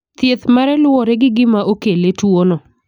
Thieth mare luwore gi gima okele tuono.